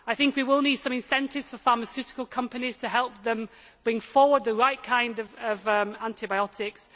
I think we will need some incentives for pharmaceutical companies, to help them bring forward the right kind of antibiotics.